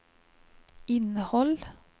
innehåll